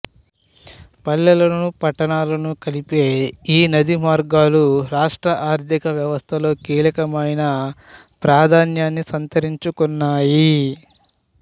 పల్లెలను పట్టణాలను కలిపే ఈ నదీమార్గాలు రాష్ట్ర ఆర్థిక వ్యవస్థలో కీలకమైన ప్రాధాన్యాన్ని సంతరించుకున్నాయి